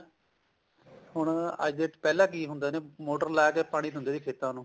ਹੁਣ ਅੱਜ ਪਹਿਲਾਂ ਕੀ ਹੁੰਦੇ ਨੇ ਮੋਟਰ ਲਾ ਕੇ ਪਾਣੀ ਦਿੰਦੇ ਤੇ ਖੇਤਾਂ ਨੂੰ